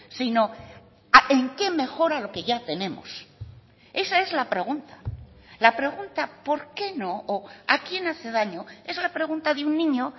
sino en qué mejora lo que ya tenemos esa es la pregunta la pregunta por qué no o a quién hace daño es la pregunta de un niño